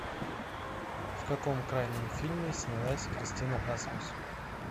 в каком крайнем фильме снялась кристина асмус